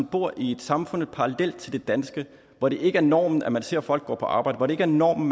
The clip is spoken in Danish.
bor i et samfund parallelt til det danske hvor det ikke er normen at man ser folk gå på arbejde hvor det ikke er normen